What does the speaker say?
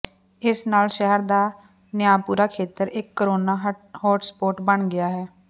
ਇਸ ਨਾਲ ਸ਼ਹਿਰ ਦਾ ਨਿਆਪੁਰਾ ਖੇਤਰ ਇਕ ਕੋਰੋਨਾ ਹੌਟਸਪੌਟ ਬਣ ਗਿਆ ਹੈ